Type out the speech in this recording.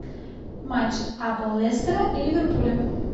матч апл лестера и ливерпуля